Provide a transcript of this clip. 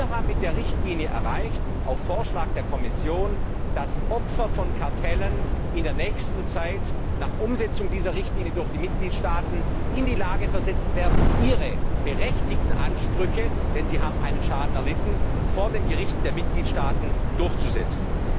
Wir haben mit der Richtlinie erreicht, auf Vorschlag der Kommission, dass Opfer von Kartellen in der nächsten Zeit nach Umsetzung dieser Richtlinie durch die Mitgliedstaaten in die Lage versetzt werden, ihre berechtigten Ansprüche denn sie haben einen Schaden erlitten vor den Gerichten der Mitgliedstaaten durchzusetzen.